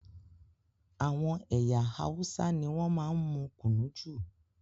Àwọn ẹyà Hausa ní wọn máa n mú kùnú jù